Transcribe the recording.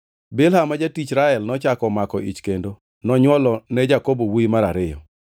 Bilha ma jatich Rael nochako omako ich kendo nonywolo ne Jakobo wuowi mar ariyo.